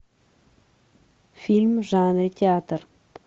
фильм в жанре театр